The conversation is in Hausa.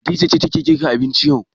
Hadiza ce take girka abinci yau.